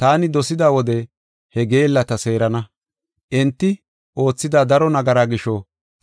Taani dosida wode he geellata seerana. Enti oothida daro nagaraa gisho